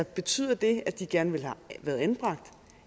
betyder det at de gerne ville have været anbragt